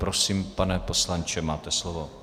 Prosím, pane poslanče, máte slovo.